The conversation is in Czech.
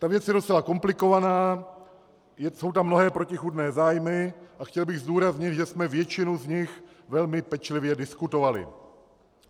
Ta věc je docela komplikovaná, jsou tam mnohé protichůdné zájmy a chtěl bych zdůraznit, že jsme většinu z nich velmi pečlivě diskutovali.